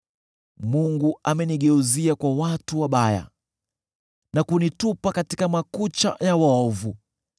Mungu amenigeuzia kwa watu wabaya, na kunitupa katika makucha ya waovu.